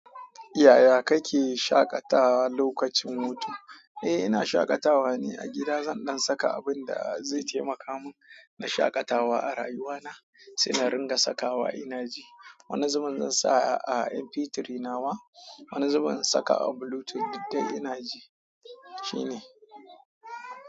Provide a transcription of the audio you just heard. Yaya kake shaƙatawa lokacin hutu? Eh, ina shaƙatawa ne a gida. Zan ɗan saka abin da zai taimaka mun na shaƙatawa a rayuwa na, sai na ringa sakawa ina ji. Wani zubin in sa a MP3 na wa, wani zubin in saka a Bluetooth duk da ina ji, shine.